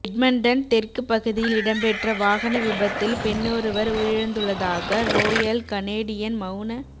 Edmonton தெற்கு பகுதியில் இடம்பெற்ற வாகன விபத்தில் பெண்ணொருவர் உயிரிழந்துள்ளதாக றோயல் கனேடியன் மவுண